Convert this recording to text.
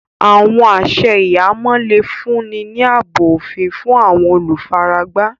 Àwọn àṣẹ̀ ìhàmọ̀ le fún ni ní àábò ofín fún àwọn olúfáràgbá.